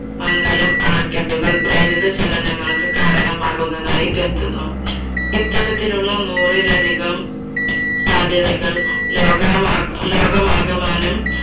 മംഗലം അണക്കെട്ടുകൾ പ്രേരിത ചലനങ്ങൾക്ക് കാരണമാകുന്നതായി കേട്ടിരുന്നു. ഇത്തരത്തിലുള്ള നൂറിൽ അധികം സാധ്യതകൾ ലോകമാ, ലോകമാകമാനം